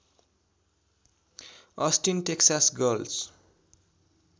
Austin Texas girls